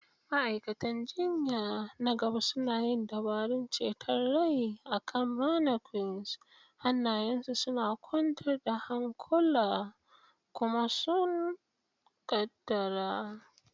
Ma'aikatan jinya na gaba suna yin dabarun ceton rai akan mannequins, hannayensu suna kwantar da hankula kuma sun ƙaddara.